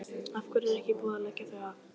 Af hverju er ekki búið að leggja þau af?